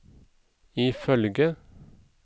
ifølge